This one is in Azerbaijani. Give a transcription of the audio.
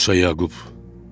Musa Yaqub.